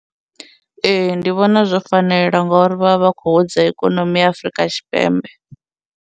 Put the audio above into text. Ee, ndi vhona zwo fanela ngauri vha vha vha khou hudza ikonomi ya Afrika Tshipembe.